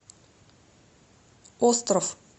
остров